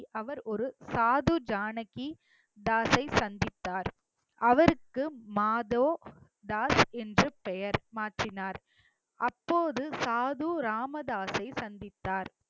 அவர் ஒரு சாது ஜானகி தாஸை சந்தித்தார் அவருக்கு மாதோ தாஸ் என்று பெயர் மாற்றினார் அப்போது சாது ராமதாசை சந்தித்தார்